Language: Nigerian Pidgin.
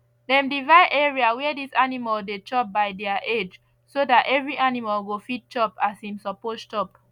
dem divide area where dis animal dey chop by their age so dat every animal go fit chop as im suppose chop